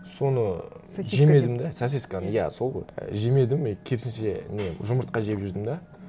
соны сосиска деп пе сосисканы иә сол ғой і жемедім и керісінше не жұмыртқа жеп жүрдім де